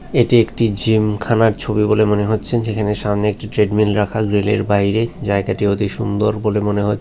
এটি একটি জিমখানার ছবি বলে মনে হচ্ছে যেখানে সামনে একটি ট্রেডমিল রাখা গ্রিলের বাইরে জায়গাটি অতি সুন্দর বলে মনে হচ্ছে।